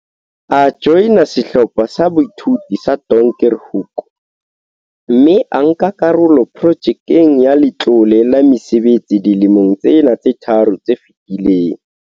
A joina Sehlopha sa Boithuto sa Donkerhoek, mme a nka karolo Projekeng ya Letlole la Mesebetsi dilemong tsena tse tharo tse fetileng.